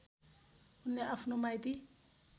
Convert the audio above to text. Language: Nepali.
उनले आफ्नो माइती